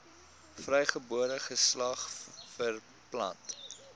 vrygebore geslag verpand